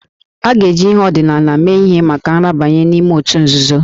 A ga-eji ihe ọdịnala mee ihe maka nrabanye n'ime otu nzuzo